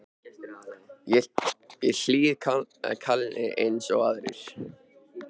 Ég hlýði kalli eins og aðrir.